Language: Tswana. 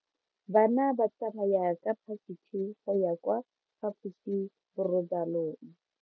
Bana ba tsamaya ka phašitshe go ya kwa phaposiborobalong.